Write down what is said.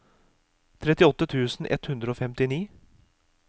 trettiåtte tusen ett hundre og femtini